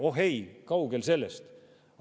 Oh ei, kaugel sellest!